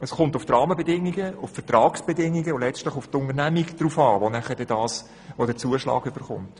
Es kommt auf die Rahmenbedingungen, die Vertragsbedingungen und letztlich auf die Unternehmung an, die den Zuschlag erhält.